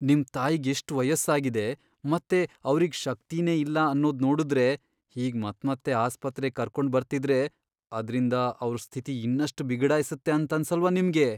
ನಿಮ್ ತಾಯಿಗ್ ಎಷ್ಟ್ ವಯಸ್ಸಾಗಿದೆ ಮತ್ತೆ ಅವ್ರಿಗ್ ಶಕ್ತಿನೇ ಇಲ್ಲ ಅನ್ನೋದ್ ನೋಡುದ್ರೆ ಹೀಗ್ ಮತ್ಮತ್ತೆ ಆಸ್ಪತ್ರೆಗ್ ಕರ್ಕೊಂಡ್ ಬರ್ತಿದ್ರೆ ಅದ್ರಿಂದ ಅವ್ರ್ ಸ್ಥಿತಿ ಇನ್ನಷ್ಟ್ ಬಿಗಡಾಯ್ಸತ್ತೆ ಅಂತನ್ಸಲ್ವಾ ನಿಮ್ಗೆ?